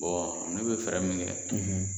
ne bɛ fɛɛrɛ min kɛ.